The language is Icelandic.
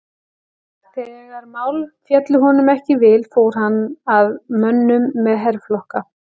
Þegar mál féllu honum ekki í vil fór hann að mönnum með herflokka.